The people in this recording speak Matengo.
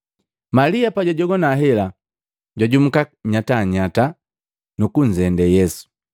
Malia pajwajogwa hela, jwajumuka nyatanyata, nukunzende Yesu.